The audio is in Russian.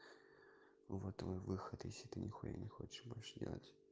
вот выход если ты ничего не хочешь больше делать